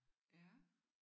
Ja